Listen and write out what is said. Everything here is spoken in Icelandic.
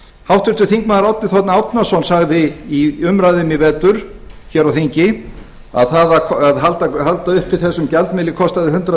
háttvirtur þingmaður árni þ árnason sagði í umræðunni í vetur á þingi að það að halda uppi þessum gjaldmiðli kostaði hundrað